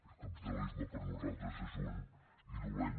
el capitalisme per nosaltres és un i dolent